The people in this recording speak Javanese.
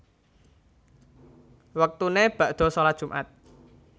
Wektuné bakda shalat Jum at